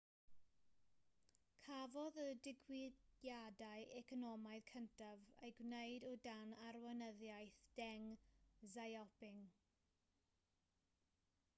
cafodd y diwygiadau economaidd cyntaf eu gwneud o dan arweinyddiaeth deng xiaoping